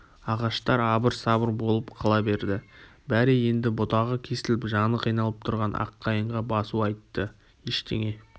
ағаштар абыр-сабыр болып қала берді бәрі енді бұтағы кесіліп жаны қиналып тұрған аққайыңға басу айтты ештеңе